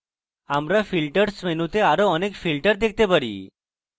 আমরা filters মেনুতে আরো অনেক filters দেখতে পারি